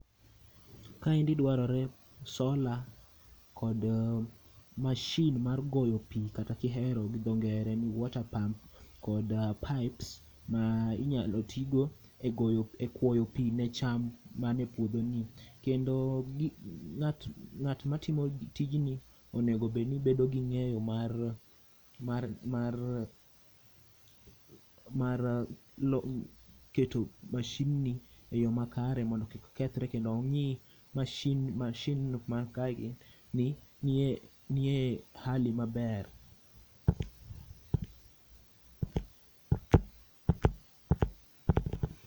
Kaendi dwarore sola kod mashin mar goyo pi kata kihero gi dho ngere ni water pump kod pipes ma inyalo tigo e goyo, e kwoyo pi ne cham mane puodho ni. Kendo ng'at ma timo tijni onegobedni bedo gi ng'eyo mar keto mashin ni e yo makare mondo kik kethre. Kendo ong'i mashin, mashin man kae gi nie, nie hali maber.